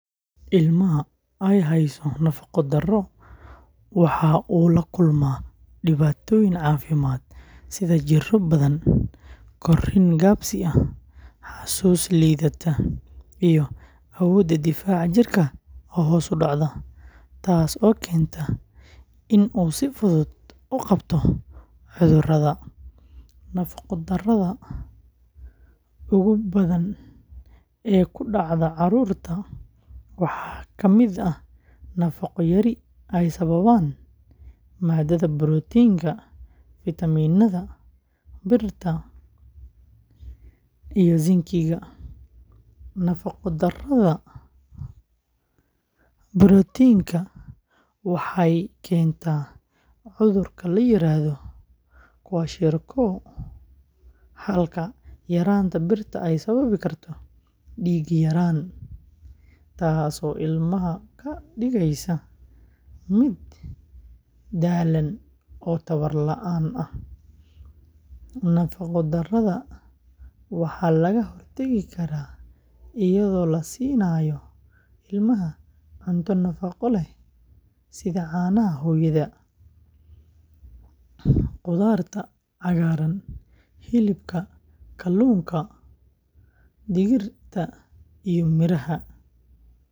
Ilmaha ay hayso nafaqo-darro waxa uu la kulmaa dhibaatooyin caafimaad sida jirro badan, korriin gaabis ah, xasuus liidata, iyo awoodda difaaca jirka oo hoos u dhacda, taasoo keenta in uu si fudud u qabto cudurrada. Nafaqo-darrada ugu badan ee ku dhacda carruurta waxaa ka mid ah nafaqo-yari ay sababaan maadada borotiinka, fitamiinada, birta, iyo zincga. Nafaqo-darrada borotiinka waxay keentaa cudurka la yiraahdo kwashiorkor, halka yaraanta birta ay sababi karto dhiig-yaraan, taasoo ilmaha ka dhigaysa mid daallan oo tamar la’aan ah. Nafaqo-darrada waxaa laga hortagi karaa iyadoo la siinayo ilmaha cunto nafaqo leh sida caanaha hooyada, khudaarta cagaaran, hilibka, kalluunka, digirta, iyo miraha.